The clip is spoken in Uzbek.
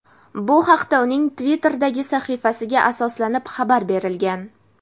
Bu haqda uning Twitter’dagi sahifasiga asoslanib xabar berilgan.